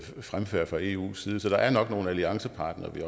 fremfærd fra eus side så der er nok nogle alliancepartnere vi